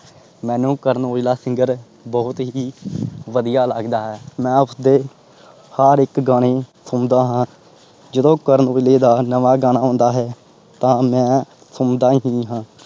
ਮੈਨੂੰ ਕਰਨ ਔਜਲਾ singer ਬਹੁਤ ਹੀ ਵਧੀਆ ਲੱਗਦਾ ਹੈ। ਮੈਂ ਉਸਦੇ ਹਰ ਇਕ ਗਾਣੇ ਸੁਣਦਾ ਹਾਂ। ਜਿਦੋਂ ਕਰਨ ਔਜਲੇ ਦਾ ਨਵਾਂ ਗਾਣਾ ਆਉਂਦਾ ਹੈ। ਤਾਂ ਮੈਂ ਸੁਣਦਾ ਹੀ ਹਾਂ।